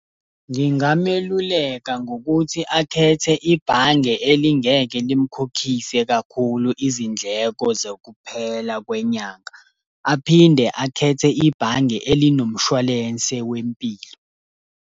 Ngingameluleka ngokuthi akhethe ibhange elingeke limkhokhise kakhulu izindleko zokuphela kwenyanga. Aphinde akhethe ibhange elinomshwalense wempilo.